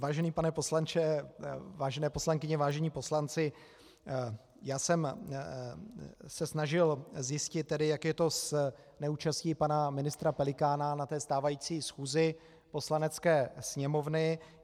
Vážený pane poslanče, vážené poslankyně, vážení poslanci, já jsem se snažil zjistit, jak je to s neúčastí pana ministra Pelikána na té stávající schůzi Poslanecké sněmovny.